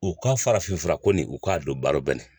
U ka farafin furako ni u k'a don baro la